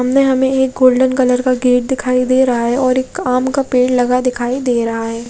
उनमे हमे एक गोल्डन कलर का गेट दिखाई दे रहा है और एक आम का पेड़ दिखाई दे रहा है।